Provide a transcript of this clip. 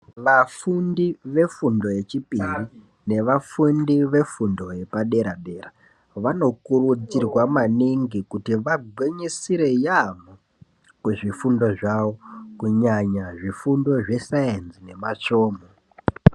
Vafundi vefundo yechipiriri nevafundi vefundo yepadera-dera. Vanokurudzirwa maningi kuti vagwinyisire yaampho kuzvifundo, zvavo kunyanya zvifundo zvesaenzi nematsvomho..